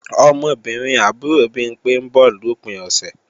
Ọmọbìnrin àbúrò Bimpé ń bọ̀ lòpin ọ̀sẹ̀